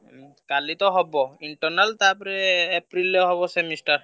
ଉଁ କାଲି ତ ହବ internal ତାପରେ April ରେ ହବ semester